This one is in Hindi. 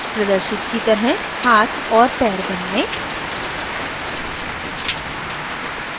प्रदर्शित की तरह हाथ और पैर बनाएं